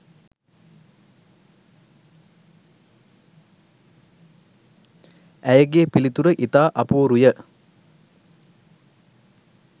ඇයගේ පිළිතුර ඉතා අපූරුය